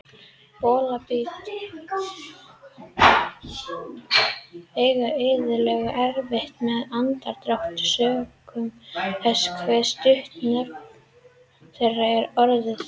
Bolabítar eiga iðulega erfitt með andardrátt sökum þess hve stutt nef þeirra er orðið.